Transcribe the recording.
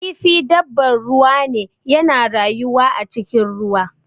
Kifi dabbar ruwa ne, yana rayuwa a cikin ruwa.